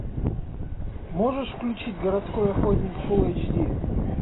можешь включить городской охотник фулл эйч ди